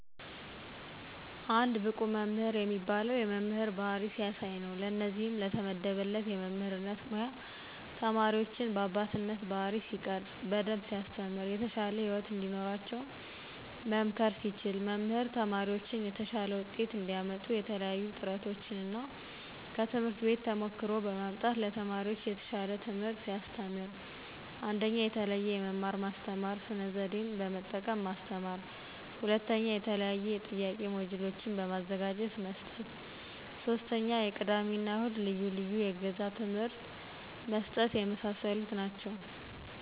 አንድ ብቁ መምህር የሚባለው የመምህር ባህሪ ሲያሳይ ነው። ለእነዚህም ለተመደበበት የመምህርነት ሙያ ተማሪዎችን በአባትነት ባህሪይ ሲቀርፅ። በደንብ ሲያስተምር። የተሻለ ህይወት እንዲኖራቸው መምከር ሲችል። መምህር ተማሪዎችን የተሻለ ውጤት እንዲያመጡ የተለያዪ ጥረቶችን እና ከትምህርት ቤት ተሞክሮ በማምጣት ለተማሪዎች የተሻል ትምህርት ሲያስተምር። 1ኞ፦ የተለዬዬ የመማር ማስተማሩን ስነ ዘዴ በመጠቀም ማስተማር 2ኞ፦ የተለያዬ የጥያቂ ሞጅሎችን በማዘጋጀት መስጠት 3ኞ፦ የቅዳሜ እና እሁድ ልዪ ልዬ የእገዛ ትምህርት መስጠት የመሳሰሉ ናቸው።